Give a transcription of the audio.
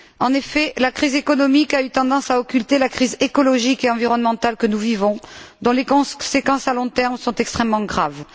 En effet, la crise économique a eu tendance à occulter la crise écologique et environnementale que nous vivons dont les conséquences à long terme sont extrêmement graves.